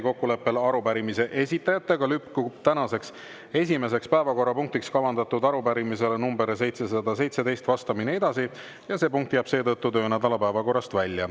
Kokkuleppel arupärimise esitajatega lükkub tänaseks esimeseks päevakorrapunktiks kavandatud arupärimisele nr 717 vastamine edasi ja see punkt jääb seetõttu töönädala päevakorrast välja.